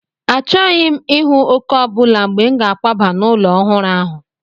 Achọghị m ịhụ òkè ọ bụla mgbe m ga-akwaba n'ụlọ ọhụrụ ahụ.